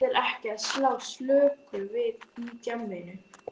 Það þýðir ekki að slá slöku við í djamminu.